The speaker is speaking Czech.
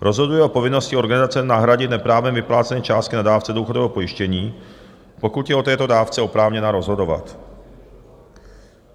rozhoduje o povinnosti organizace nahradit neprávem vyplacené částky na dávce důchodového pojištění, pokud je o této dávce oprávněná rozhodovat,